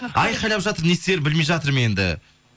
айқайлап жатыр не істерімді білмей жатырмын енді